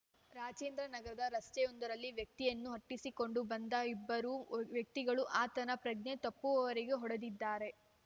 ರಾಜೇಂದ್ರ ನಗರದ ರಸ್ತೆಯೊಂದರಲ್ಲಿ ವ್ಯಕ್ತಿಯನ್ನು ಅಟ್ಟಿಸಿಕೊಂಡು ಬಂದ ಇಬ್ಬರು ವ್ಯಕ್ತಿಗಳು ಆತನ ಪ್ರಜ್ಞೆ ತಪ್ಪುವವರೆಗೆ ಹೊಡೆದಿದ್ದಾರೆ